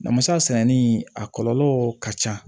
Namasa sɛnɛni a kɔlɔlɔ ka ca